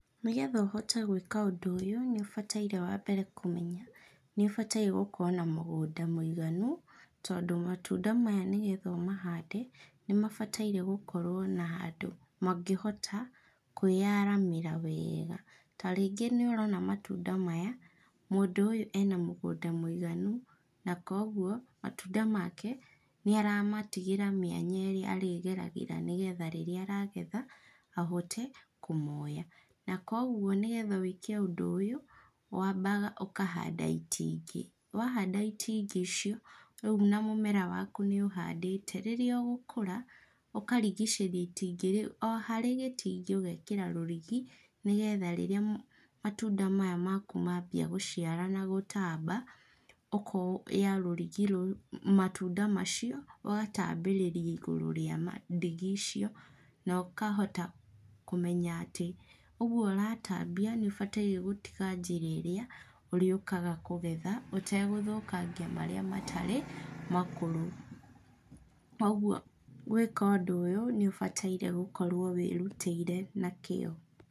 Nĩgetha ũhote gwĩka ũndũ ũyũ, nĩũbataire wambere kũmenya nĩũbataire gũkorwo na mũgũnda mũiganu, tondũ matunda maya nĩgetha ũmahande, namabataire gũkorwo na handũ mangĩhota, kwĩyaramĩra wega, tarĩngĩ nĩũrona matunda maya, mũndũ ũyũ ena mũgũnda mũiganu, na koguo, matunda make, nĩaramatigĩra mĩanya ĩrĩa arĩgeragĩra nĩgetha rĩrĩa aragetha, ahote kũmoya. Na koguo nĩgetha wĩke ũndũ ũyũ, wambaga ũkahanda itingĩ, wahanda itingĩ icio, rĩu na mũmera waku nĩũhandĩte, rĩrĩa ũgũkũra, ũkarigicĩria itingĩ o harĩ gĩtingĩ ũgekĩra rũrigi nĩgetha rĩrĩa matunda maya maku mabia gũciara na gũtamba, ũkoya rũrigĩ matunda macio, ũgatambĩrĩria igũrũ rĩa ma ndigi icio, na ũkahota kũmenya atĩ ũguo ũratambia nĩũbataire gũtiga njĩra ĩrĩa ũrĩũkaga kũgera, ũtegũthũkangia marĩa matarĩ makũrũ. O ũguo, gwĩka ũndũ ũyũ nĩũbataire gũkorwo wĩrutĩire na kĩo.